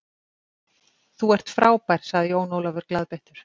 Þú ert fábær, sagði Jón Ólafur glaðbeittur.